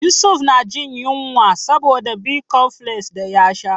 Yusufu na jin yunwa saboda Bicomfles da ya sha.